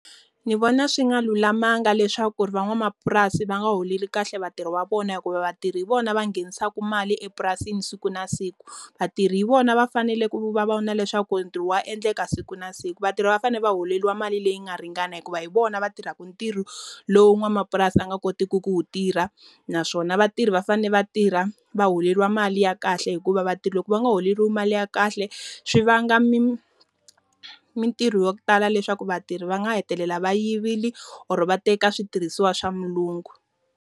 Ndzi vona swi nga lulamanga leswaku ri van'wamapurasi va nga holeli kahle vatirhi wa vona hikuva vatirhi hi vona va nghenisaka mali epurasini siku na siku. Vatirhi hi vona va fanele ku va va vona leswaku ntirho wa endleka siku na siku. Vatirhi va fanele va holeriwa mali leyi nga ringana hikuva hi vona va tirhaka ntirho lowu n'wamapurasi a nga kotiku ku wu tirha. Naswona vatirhi va fanele va tirha va holeriwa mali ya kahle hikuva vatirhi loko va nga holeriwi mali ya kahle, swi vanga mintirho yo ku tala leswaku vatirhi va nga hetelela va yivile or va teka switirhisiwa swa mulungu.